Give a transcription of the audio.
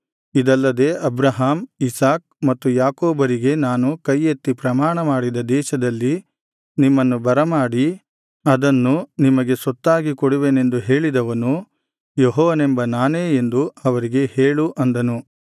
ಇದಲ್ಲದೆ Abraham Isaac ಮತ್ತು ಯಾಕೋಬರಿಗೆ ನಾನು ಕೈ ಎತ್ತಿ ಪ್ರಮಾಣಮಾಡಿದ ದೇಶದಲ್ಲಿ ನಿಮ್ಮನ್ನು ಬರಮಾಡಿ ಅದನ್ನು ನಿಮಗೆ ಸ್ವತ್ತಾಗಿ ಕೊಡುವೆನೆಂದು ಹೇಳಿದವನು ಯೆಹೋವನೆಂಬ ನಾನೇ ಎಂದು ಅವರಿಗೆ ಹೇಳು ಅಂದನು